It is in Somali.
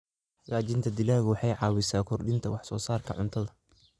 Hagaajinta dalaggu waxay caawisaa kordhinta wax soo saarka cuntada.